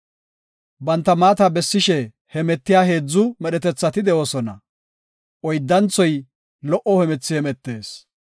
Banta maata bessishe hemetiya heedzu medhetethati de7oosona; oyddanthoy lo77o hemethi hemetees.